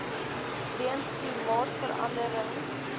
weens klimaatsverande ring